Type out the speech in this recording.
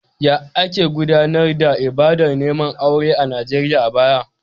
Yaya ake gudanar da ibadar neman aure a Najeriya a baya?